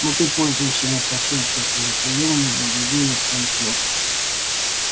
но ты пользуешься не совсем честными приёмами для ведения своих дел